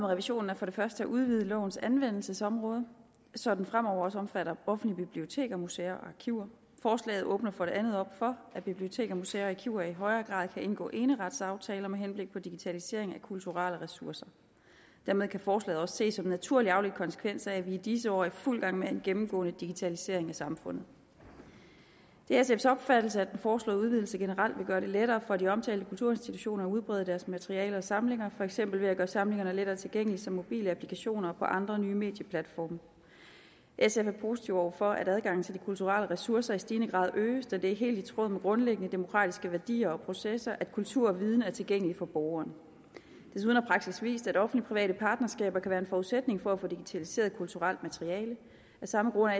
revisionen er for det første at udvide lovens anvendelsesområde så den fremover også omfatter offentlige biblioteker museer og arkiver forslaget åbner for det andet op for at biblioteker museer og arkiver i højere grad kan indgå eneretsaftaler med henblik på digitaliseringen af kulturelle ressourcer dermed kan forslaget også ses som en naturlig afledt konsekvens af at vi i disse år er i fuld gang med en gennemgående digitalisering af samfundet det er sfs opfattelse at den foreslåede udvidelse generelt vil gøre det lettere for de omtalte kulturinstitutioner at udbrede deres materialer og samlinger for eksempel ved at gøre samlingerne mere tilgængelige via mobile applikationer og på andre nye medieplatforme sf er positive over for at adgangen til de kulturelle ressourcer i stigende grad øges da det er helt i tråd med grundlæggende demokratiske værdier og processer at kultur og viden er tilgængelig for borgeren desuden har praksis vist at offentlig private partnerskaber kan være en forudsætning for at få digitaliseret kulturelt materiale af samme grund er